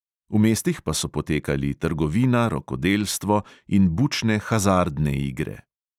V mestih pa so potekali trgovina, rokodelstvo in bučne hazardne igre.